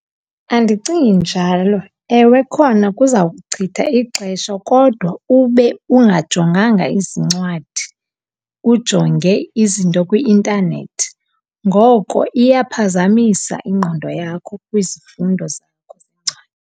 Andicingi njalo. Ewe khona kuzawuchitha ixesha kodwa ube ungajonganga izincwadi, ujonge izinto kwi-intanethi. Ngoko iyaphazamisa ingqondo yakho kwizifundo zakho .